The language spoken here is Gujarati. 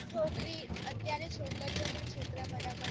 છોકરી અત્યારે છોકરી છોકરીઓ પણ છોકરા ના બરાબર છે